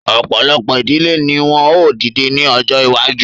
Ọ̀pọ̀lọpọ̀ ìdílé ni wọ́n ó dìde ní ọjọ́ iwájú